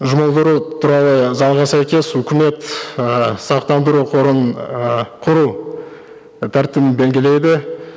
жұмылдыру туралы заңына сәйкес үкімет ііі сақтандыру қорын ііі құру тәртібін белгілейді